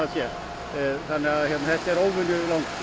þetta er óvenju langt